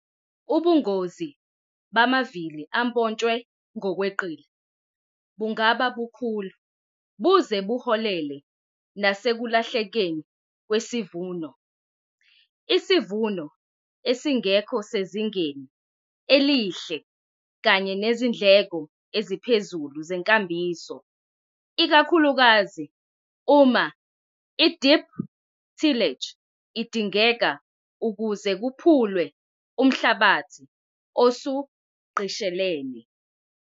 Ubungozi bamavili ampontshwe ngokweqile bungaba bukhulu buze uholele nasekulahlekeni kwesivuno, isivuno esingekho sezingeni elihle kanye nezindleko eziphezulu zenkambiso, ikakhulukazi uma ideep tillage idingeka ukuze kuphulwe umhlabathi osugqishelene.